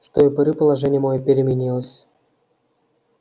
с той поры положение моё переменилось